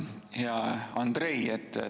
Hea Andrei!